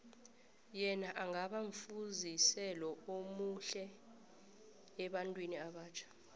yena angaba mfuziselo omuhle ebantwini abatjha